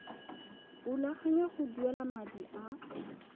rulaganya go duela madi a